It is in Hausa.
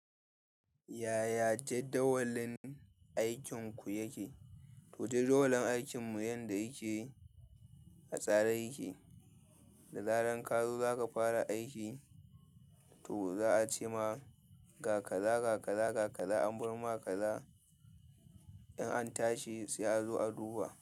Yaya jadawalin aikinku yake? To, jadawalin aikinmu yanda yake, a tsare yake. Da zaran ka zo za ka fara aiki. To za a ce ma ka, ga kaza, ga kaza, ga kaza. An bar ma kaza, in an tashi sai a zo a duba.